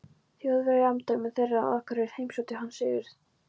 Þjóðverja í umdæmum þeirra, og á Akureyri heimsótti hann Sigurð